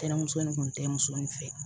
Tɛnɛmuso nin kun tɛ muso in fɛ ye